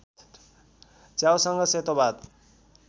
च्याउसँग सेतो भात